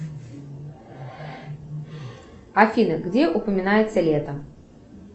афина где упоминается лето